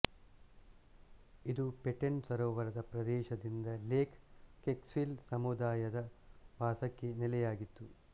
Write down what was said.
ಇದು ಪೆಟೆನ್ ಸರೋವರದ ಪ್ರದೇಶದಿಂದ ಲೇಕ್ ಕ್ವೆಕ್ಸಿಲ್ ಸಮುದಾಯದ ವಾಸಕ್ಕೆ ನೆಲೆಯಾಗಿತ್ತು